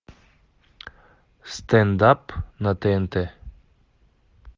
стендап на тнт